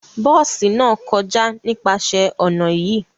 Bosi náà kọja nípasẹ ọna yii